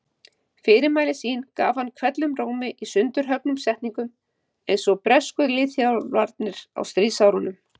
Fyrirmæli sín gaf hann hvellum rómi í sundurhöggnum setningum einsog bresku liðþjálfarnir á stríðsárunum.